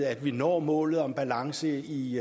at vi når målet om balance i